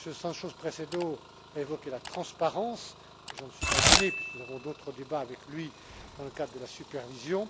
Sánchez Presedo a évoqué la transparence, et je n'en suis pas étonné, puisque nous avons d'autres débats avec lui dans le cadre de la supervision.